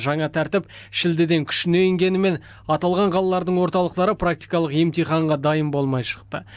жаңа тәртіп шілдеден күшіне енгенімен аталған қалалардың орталықтары практикалық емтиханға дайын болмай шықты